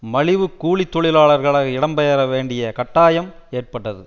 மலிவுக் கூலி தொழிலாளர்களாக இடம் பெயர வேண்டிய கட்டாயம் ஏற்பட்டது